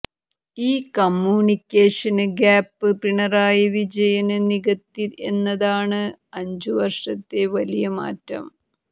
ഈ communication gap Pinarayi Vijayan നികത്തി എന്നതാണ് അഞ്ചു വര്ഷത്തെ വലിയ മാറ്റം